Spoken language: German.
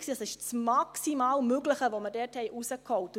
Es war das maximal Mögliche, das wir dort herausgeholt haben.